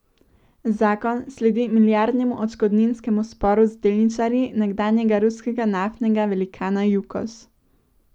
Zakon sledi milijardnemu odškodninskemu sporu z delničarji nekdanjega ruskega naftnega velikana Jukos.